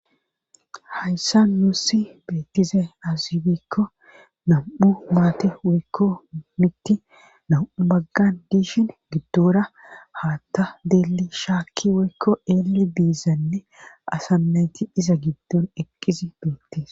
Hayssa nuussi beettize aazibikko nam7u maate wekko mitti nam7u maggan diishin giddora haatta deeli shaakki weykko eele biizanne asanayti iza giddon eqqizi beettis.